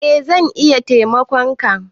Eh zan iya taimakon ka